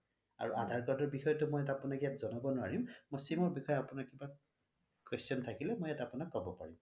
আৰু আধাৰ card ৰ বিষয়ে টো মই আপোনাক ইয়াত জনাব নোৱাৰিম মই sim ৰ বিষয়ে আপোনাক কিবা question থাকিলে ইয়াত মই আপোনাক কব পাৰিম